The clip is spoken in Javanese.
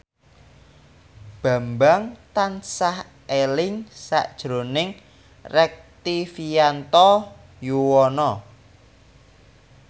Bambang tansah eling sakjroning Rektivianto Yoewono